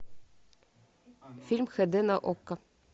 фильм хд на окко